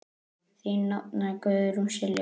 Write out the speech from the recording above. Þín nafna, Guðrún Silja.